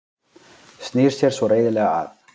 Snýr sér svo reiðilega að